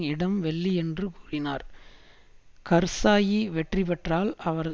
இடம் வெள்ளியன்று கூறினார் கர்சாயி வெற்றி பெற்றால் அவர்